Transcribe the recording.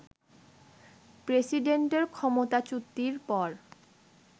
প্রেসিডেন্টের ক্ষমতাচ্যুতির পর